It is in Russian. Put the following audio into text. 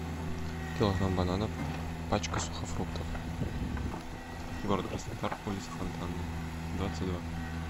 килограмм бананов пачка сухофруктов город краснодар улица фонтанная двадцать два